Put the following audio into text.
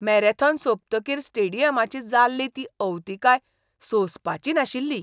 Marathon सोंपतकीर स्टेडियमाची जाल्ली ती अवतिकाय सोंसपाची नाशिल्ली.